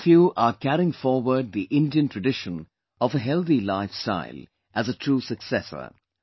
All of you are carrying forward the Indian tradition of a healthy life style as a true successor